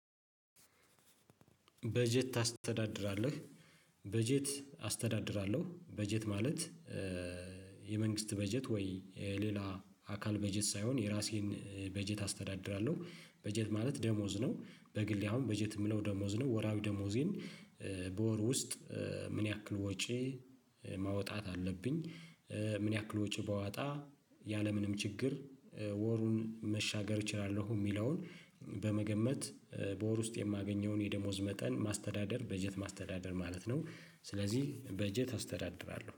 በጀት ታስተዳድራለህ። በጀት አስተዳድራለሁ በጀት ማለት። የመንግስት በጀት ወይ የሌላ አካል በጀት ሳይሆን የራሴን በጀት አስተዳድራለሁ። በጀት ማለት ደሞዝ ነው። በግሌ አሁን በጀት ምለው ደሞዝ ነው። ወርሃዊ ደሞዜን በወር ውስጥ ምን ያክል ወጪ ማውጣት አለብኝ። ምን ያክል ወጪ ባወጣ ያለምንም ችግር ወሩን መሻገር እችላለሁ ሚለውን በመገመት። በወር ውስጥ የማገኘውን የደሞዝ መጠን ማስተዳደር በጀት ማስተዳደር ማለት ነው። ስለዚህ በጀት አስተዳድራለሁ